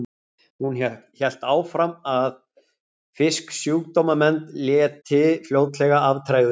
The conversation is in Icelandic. Ég hélt áfram að vona að Fisksjúkdómanefnd léti fljótlega af tregðu sinni.